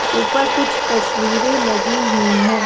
ऊपर कुछ तस्वीरें लगी हुई हैं।